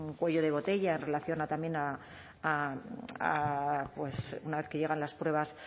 cuello de botella en relación a también a a pues una vez que llegan las pruebas